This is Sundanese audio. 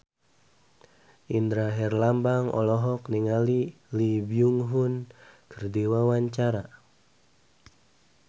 Indra Herlambang olohok ningali Lee Byung Hun keur diwawancara